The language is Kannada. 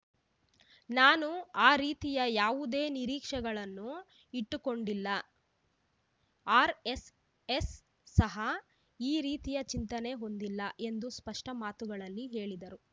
ನಾನು ಆ ರೀತಿಯ ಯಾವುದೇ ನಿರೀಕ್ಷೆಗಳನ್ನು ಇಟ್ಟುಕೊಂಡಿಲ್ಲ ಆರ್ ಎಸ್ಎಸ್ ಸಹ ಈ ರೀತಿಯ ಚಿಂತನೆ ಹೊಂದಿಲ್ಲ ಎಂದು ಸ್ಪಷ್ಟ ಮಾತುಗಳಲ್ಲಿ ಹೇಳಿದರು